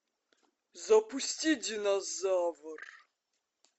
запусти динозавр